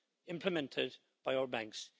implemented by our banks.